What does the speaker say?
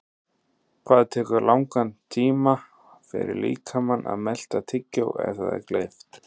Hvað tekur það langan tíma fyrir líkamann að melta tyggjó ef það er gleypt?